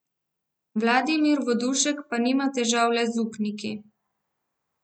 Vladimir Vodušek pa nima težav le z upniki.